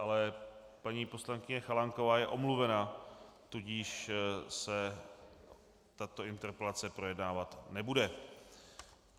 Ale paní poslankyně Chalánková je omluvena, tudíž se tato interpelace projednávat nebude.